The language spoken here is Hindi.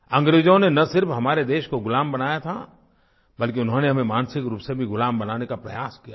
अंग्रेज़ों ने न सिर्फ हमारे देश को ग़ुलाम बनाया था बल्कि उन्होंने हमें मानसिक रूप से भी ग़ुलाम बनाने का प्रयास किया था